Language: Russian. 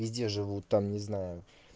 везде живут там не знаю